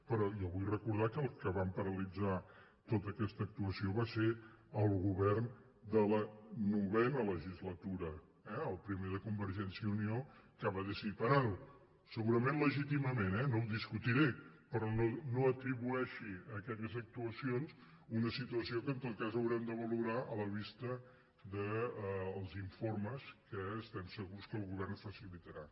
però jo vull recordar que els que van paralitzar tota aquesta actuació va ser el govern de la novena legislatura eh el primer de convergència i unió que va decidir parar ho segurament legítimament eh no ho discutiré però no atribueixi a aquelles actuacions una situació que en tot cas haurem de valorar a la vista dels informes que estem segurs que el govern facilitarà